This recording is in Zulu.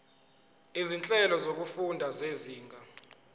izinhlelo zokufunda zezinga